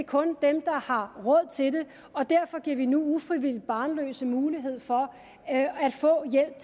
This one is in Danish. kun er dem der har råd til det og derfor giver vi nu ufrivilligt barnløse mulighed for at få hjælp